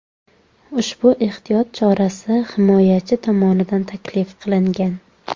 Ushbu ehtiyot chorasi himoyachi tomonidan taklif qilingan.